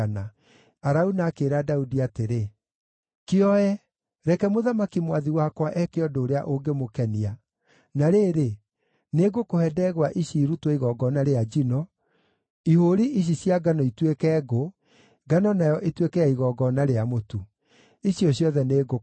Arauna akĩĩra Daudi atĩrĩ, “Kĩoe! Reke mũthamaki mwathi wakwa eeke ũndũ ũrĩa ũngĩmũkenia. Na rĩrĩ, nĩngũkũhe ndegwa ici irutwo igongona rĩa njino, ihũũri ici cia ngano ituĩke ngũ, ngano nayo ĩtuĩke ya igongona rĩa mũtu. Icio ciothe nĩngũkũhe.”